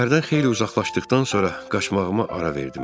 Şəhərdən xeyli uzaqlaşdıqdan sonra qaçmağıma ara verdim.